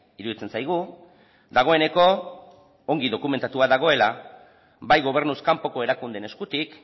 iruditzen zaigu dagoeneko ongi dokumentua dagoela bai gobernuz kanpoko erakundeen eskutik